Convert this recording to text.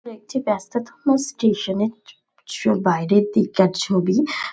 এটি একটি ব্যাস্ততম স্টেশন -এর ছ ছ বাইরের দিককার ছবি।